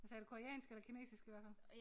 Hvad sagde du koreansk eller kinesisk i hvert fald